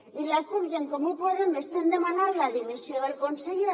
i la cup i en comú podem estem demanant la dimissió del conseller